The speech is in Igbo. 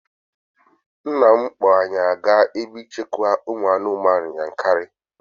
Nna m kpọọ anyị aga ebe nchekwa ụmụ anụmanụ Yankari